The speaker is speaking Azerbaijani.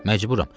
Məcburam.